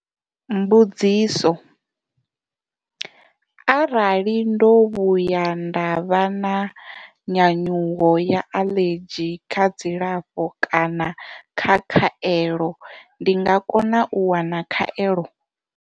Mbudziso. Arali ndo vhu ya nda vha na nyanyuwo ya aḽedzhi kha dzilafho kana kha khaelo ndi nga kona u wana khaelo?